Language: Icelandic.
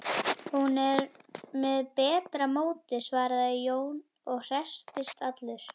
Hún er með betra móti, svaraði Jón og hresstist allur.